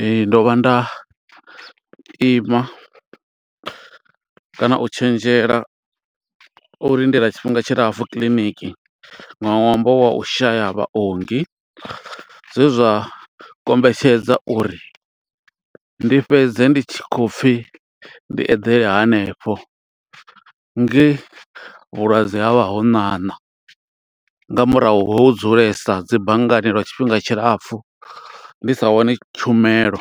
Ee, ndo vha nda ima kana u tshenzhela u lindela tshifhinga tshilapfu kiḽiniki, nga ṅwambo wa u shaya vhaongi. Zwe zwa kombetshedza uri ndi fhedze ndi tshi khou pfi, ndi eḓele hanefho, nge vhulwadze ha vha ho ṋaṋa, nga murahu ho u dzulesa dzi banngani lwa tshifhinga tshilapfu, ndi sa wani tshumelo.